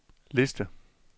liste